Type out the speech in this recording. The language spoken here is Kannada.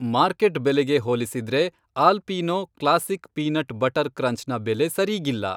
ಮಾರ್ಕೆಟ್ ಬೆಲೆಗೆ ಹೋಲಿಸಿದ್ರೆ Alpino classic peanut butter crunch ನ ಬೆಲೆ ಸರೀಗಿಲ್ಲ.